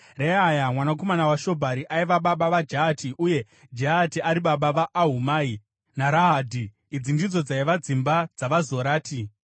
Reaya mwanakomana waShobhari aiva baba vaJahati, uye Jahati ari baba vaAhumai naRahadhi. Idzi ndidzo dzaiva dzimba dzavaZorati.